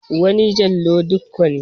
Wani Jallo Dikko ne.